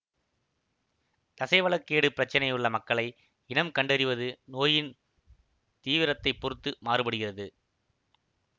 தசைவள கேடு பிரச்சினையுள்ள மக்களை இனம் கண்டறிவது நோயின் தீவிரத்தைப் பொறுத்து மாறுபடுகிறது